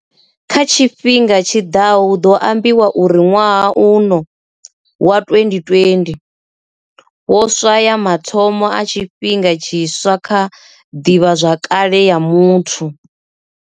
Kha tshifhinga tshi ḓaho hu ḓo ambiwa uri ṅwaha uno, wa 2020, wo swaya mathomo a tshifhinga tshiswa kha ḓivhazwakale ya muthu.